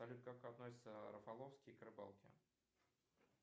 салют как относится рафаловский к рыбалке